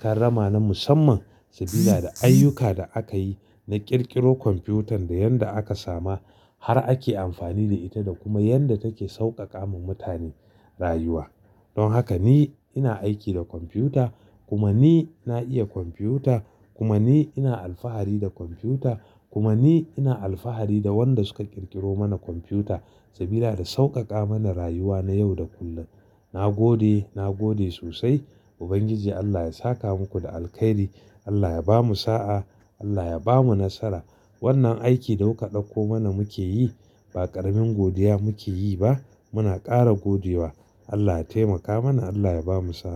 Karrama na musamman sabida da ayyuka da aka yi na ƙirƙiro kwamfutan da yanda aka sama har ake amfani da ita da kuma yanda take sauƙaƙa ma mutane rayuwa. Don haka ni ina aiki da kwamfuta, kuma ni na iya kwamfuta, kuma ni ina alfahari da kwamfuta, kuma ni ina alfahari da wanda suka ƙirƙiro mana kwamfuta sabida da sauƙaƙa mana rayuwa na yau da kullum. Na gode, na gode sosai. Ubangiji Allah ya saka muku da alkairi. Allah ya bamu sa'a. Allah ya bamu nasara. Wannan aiki da kuka ɗauko mana muke yi ba ƙaramin godiya muke yi ba. Muna ƙara godewa. Allah ya taimaka mana, Allah ya bamu sa'a.